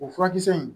O furakisɛ in